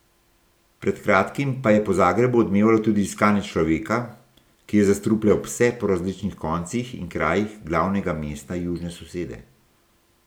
Pred kratkim pa je po Zagrebu odmevalo tudi iskanje človeka, ki je zastrupljal pse po različnih koncih in krajih glavnega mesta južne sosede.